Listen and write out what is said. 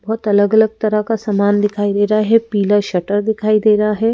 बहुत अलग-अलग तरह का सामान दिखाई दे रहा है पीला शटर दिखाई दे रहा है।